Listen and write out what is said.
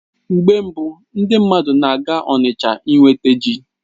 Mgbe mbu, ndị mmadụ na-aga Onitsha inweta ji